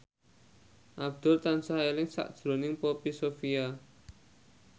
Abdul tansah eling sakjroning Poppy Sovia